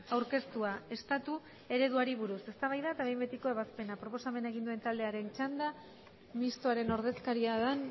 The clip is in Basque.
aurkeztua estatu ereduari buruz eztabaida eta behin betiko ebazpena proposamena egin duen taldearen txanda mistoaren ordezkaria den